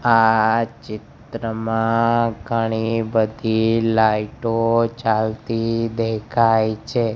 આ ચિત્રમાં ઘણી બધી લાઈટ ઓ ચાલતી દેખાય છે.